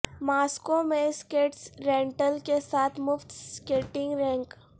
Moscow میں skates rental کے ساتھ مفت سکیٹنگ رینک